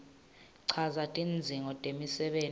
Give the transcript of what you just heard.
chaza tidzingo temisebenti